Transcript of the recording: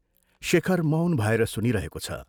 शेखर मौन भएर सुनिरहेको छ।